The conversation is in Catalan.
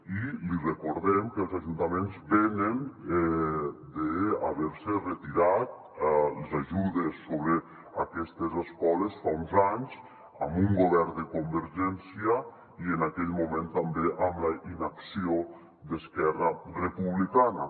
i li recordem que els ajuntaments venen d’haver·se retirat les ajudes sobre aquestes escoles fa uns anys amb un govern de convergència i en aquell mo·ment també amb la inacció d’esquerra republicana